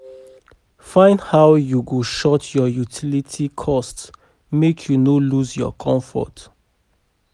Find how yu go short yur utility cost mek yu no lose yur comfort